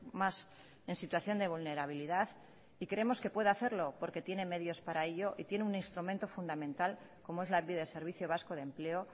más en situación de vulnerabilidad y creemos que puede hacerlo porque tiene medios para ello y tiene un instrumento fundamental como es lanbide servicio vasco de empleo